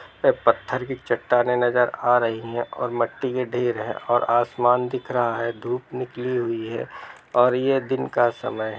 पे पत्थर की चट्टानें नजर आ रही है और मट्टी के ढेर है और आसमान दिख रही है धूप निकली हुई है और ये दिन का समय है।